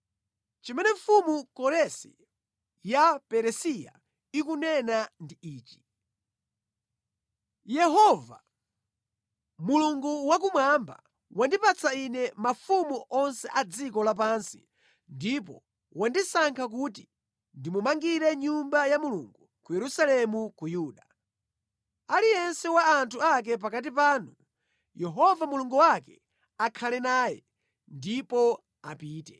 Chimene mfumu Koresi ya Peresiya ikunena ndi ichi: “Yehova, Mulungu wakumwamba wandipatsa ine mafumu onse a dziko lapansi ndipo wandisankha kuti ndimumangire Nyumba ya Mulungu ku Yerusalemu ku Yuda. Aliyense wa anthu ake pakati panu, Yehova Mulungu wake akhale naye, ndipo apite.”